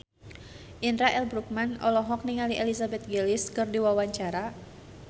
Indra L. Bruggman olohok ningali Elizabeth Gillies keur diwawancara